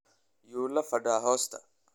Yuulafadaa hosta.